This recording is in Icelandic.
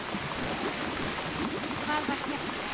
Magnús Hlynur: Hvað var skemmtilegast?